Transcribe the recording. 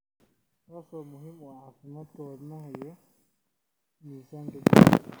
taasoo muhiim u ah caafimaadka wadnaha iyo miisaanka jirka.